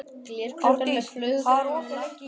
Ardís, hvað er opið lengi í Kjörbúðinni?